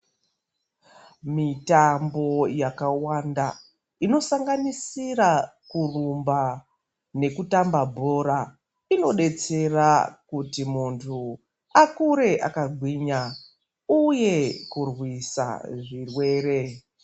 Mitambo yakawanda inosanganisira kurumba nekutamba bhora inodetsera kuti muntu akure akagwinya uye kurwisa zvirwere.